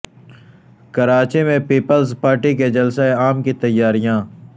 کراچی میں پیپلز پارٹی کے جلسہ عام کی تیاریاں